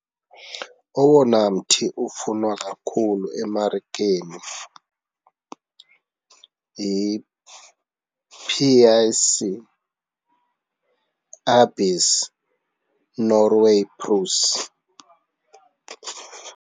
Owona mthi ufunwa kakhulu emarikeni yi-P_I_C .